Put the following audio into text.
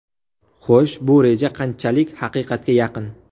Xo‘sh, bu reja qanchalik haqiqatga yaqin?